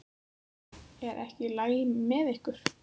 Er ekki allt í lagi með ykkur?